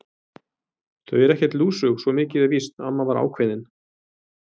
Þau eru ekkert lúsug, svo mikið er víst amma var ákveðin.